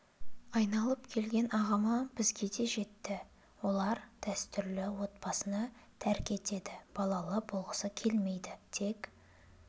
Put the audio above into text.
айналып келген ағымы бізге де жетті олар дәстүрлі отбасыны тәрк етеді балалы болғысы келмейді тек